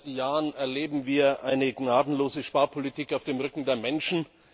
Seit Jahren erleben wir eine gnadenlose Sparpolitik auf dem Rücken der Menschen.